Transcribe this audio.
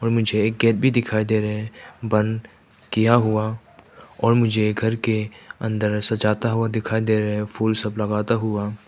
और मुझे एक गेट भी दिखाई दे रहे बंद किया हुआ और मुझे ये घर के अंदर सजाता हुआ दिखाई दे रहे फूल सब लगाता हुआ--